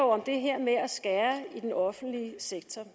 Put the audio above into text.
om det her med at skære i den offentlige sektor